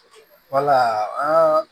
Wala an ka